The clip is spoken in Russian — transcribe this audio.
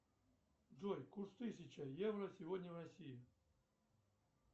джой курс тысяча евро сегодня в россии